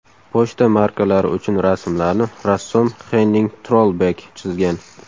Pochta markalari uchun rasmlarni rassom Xenning Trollbek chizgan.